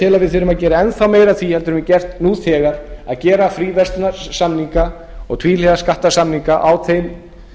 við þurfum að gera enn þá meira af því en við höfum gert nú þegar að gera fríverslunarsamninga og tvíhliða skattasamninga á þeim að